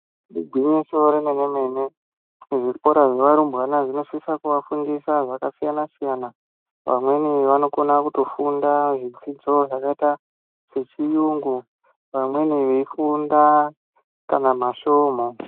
Igwinyiso remene-mene. Zvikora zvevarumbwana zvinosisa kuvafundisa zvakasiyana -siyana. Pamweni vanokona kutofunda zvidzidzo zvakaita sechiyungu pamweni veifunda kana masvomhu.